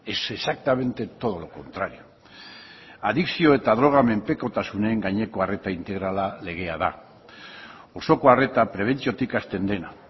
es exactamente todo lo contrario adikzio eta droga menpekotasunen gaineko arreta integrala legea da osoko arreta prebentziotik hasten dena